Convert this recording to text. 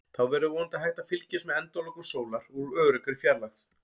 Þá verður vonandi hægt að fylgjast með endalokum sólar úr öruggri fjarlægð.